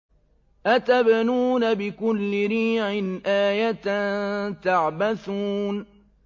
أَتَبْنُونَ بِكُلِّ رِيعٍ آيَةً تَعْبَثُونَ